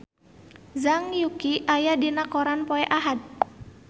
Zhang Yuqi aya dina koran poe Ahad